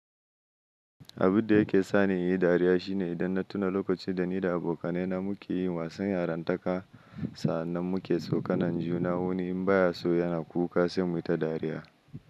Abunda yake sani yayi dariya shine idan na tuna lokacin da ni da abokanai na muke yin wasan yarantaka sannan muke tsokanan juna wani in baya so yana kuka sai mu yi ta dariya.